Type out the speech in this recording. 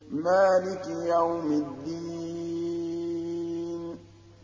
مَالِكِ يَوْمِ الدِّينِ